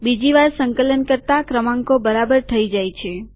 બીજી વાર સંકલન કરતા ક્રમાંકો બરાબર થઇ જાય છે